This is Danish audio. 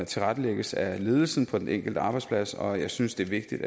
tilrettelægges af ledelsen på den enkelte arbejdsplads og jeg synes det er vigtigt